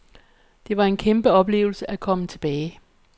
Det var en kæmpeoplevelse at komme tilbage.